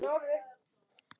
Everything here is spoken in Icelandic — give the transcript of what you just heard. Ég hafði ekkert að gera.